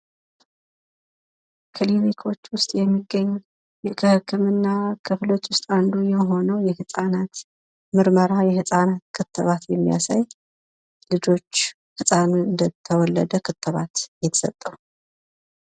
ክሊኒክ ውስጥ ከሚገኙ የህክምና አይነቶች አንዱ ሲሆን ይኸውም የህጻናት ምርመራ ነው።